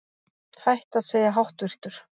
Hætt að segja háttvirtur